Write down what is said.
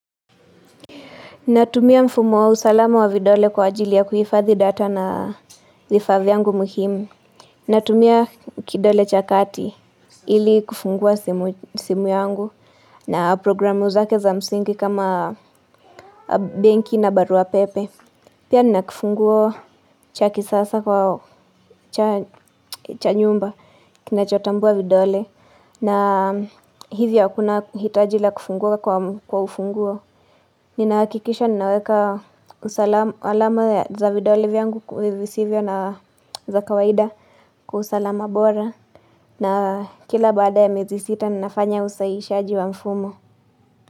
Natumia mfumo wa usalama wa vidole kwa ajili ya kuhifadhi data na vifaa vyangu muhimu. Natumia kidole cha kati ili kufungua simu yangu na programu zake za msingi kama benki na barua pepe. Pia nina kifunguo cha kisasa kwa cha nyumba kinachotambua vidole na hivyo hakuna hitaji la kufungua kwa ufunguo. Ninahakikisha ninaweka usalama alama za vidole vyangu visivyo na za kawaida Kwa usalama bora na kila baada ya miezi sita ninafanya usahihishaji wa mfumo.